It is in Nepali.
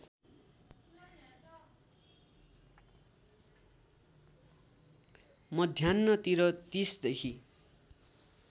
मध्यान्हतिर ३० देखि